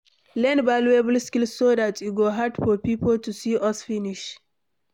Learn valuable skill so dat e go hard for pipo to see us finish